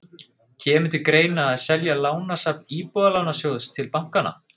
Kemur til greina að selja lánasafn Íbúðalánasjóðs til bankanna?